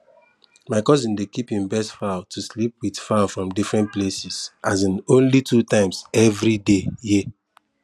my cousin dey keep him best fowl to sleep with fowl from different places um only two times everyday year